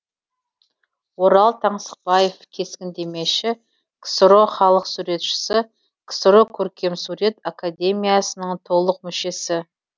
орал таңсықбаев кескіндемеші ксро халық суретшісі ксро көркемсурет академиясының толық мүшесі